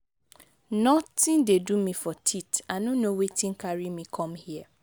nothing dey do me for teeth i no know wetin carry me come here.